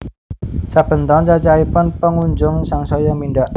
Saben taun cacahipun pengunjung sangsaya mindhak